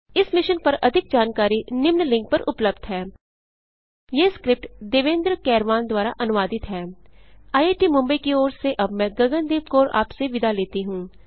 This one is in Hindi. इस मिशन पर अधिक जानकारी निम्न लिंक पर उपलब्ध है httpspoken tutorialorgNMEICT Intro यह स्क्रिप्ट देवेन्द्र कैरवान द्वारा अनुवादित है आईआईटी मुंबई की ओर से अब मैंआपसे विदा लेती हूँ